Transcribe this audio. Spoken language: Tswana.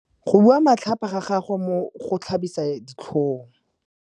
Go bua matlhapa ga gagwe go tlhabisa ditlhong.